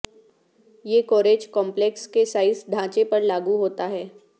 یہ coverage complex کے size ڈھانچے پر لاگو ہوتا ہے